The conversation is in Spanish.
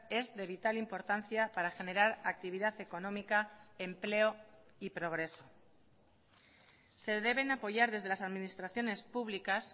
es de vital importancia para generar actividad económica empleo y progreso se deben apoyar desde las administraciones públicas